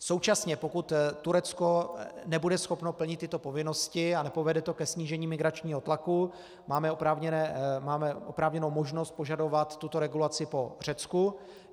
Současně, pokud Turecko nebude schopno plnit tyto povinnosti a nepovede to ke snížení migračního tlaku, máme oprávněnou možnost požadovat tuto regulaci po Řecku.